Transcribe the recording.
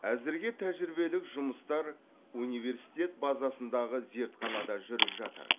әзірге тәжірибелік жұмыстар университет базасындағы зертханада жүріп жатыр